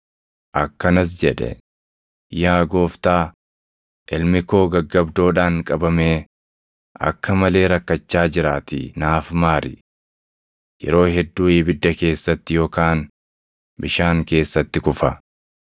akkanas jedhe; “Yaa Gooftaa, ilmi koo gaggabdoodhaan qabamee akka malee rakkachaa jiraatii naaf maari. Yeroo hedduu ibidda keessatti yookaan bishaan keessatti kufa.